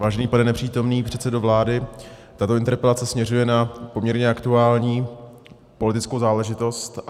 Vážený pane nepřítomný předsedo vlády, tato interpelace směřuje na poměrně aktuální politickou záležitost.